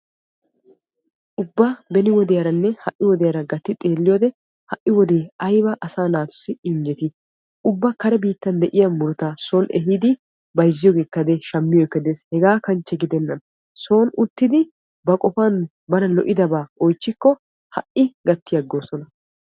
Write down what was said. Ubba beni wodiyaranne ha'i wodiyara gatti xeelliyodde ha'i wode aybba asaa naatussi injjetti ubba kare biittan de'iya murutta ehiddi bayzziyogekka shammiyogekka de'es qassikka son uttiddi oychchikko gakki agosonna.